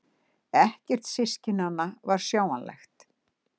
Ekkert systkinanna var sjáanlegt.